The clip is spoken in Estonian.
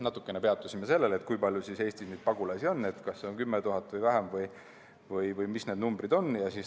Natukene peatusime sellel, kui palju Eestis pagulasi on, kas on 10 000 või vähem või mis need numbrid on.